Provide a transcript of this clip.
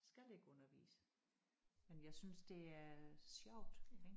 Skal ikke undervise men jeg synes det er sjovt ik